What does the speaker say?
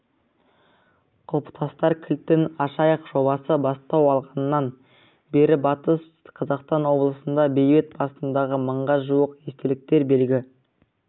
құлпытас кілтін ашайық жобасы бастау алғаннан бері батыс қазақстан облысында бейіт басындағы мыңға жуық естелік белгі